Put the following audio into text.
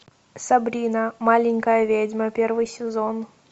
сабрина маленькая ведьма первый сезон